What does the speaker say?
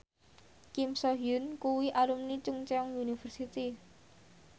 Kim So Hyun kuwi alumni Chungceong University